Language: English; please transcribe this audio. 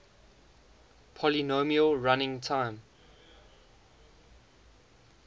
polynomial running time